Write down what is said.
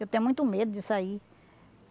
Eu tenho muito medo disso aí.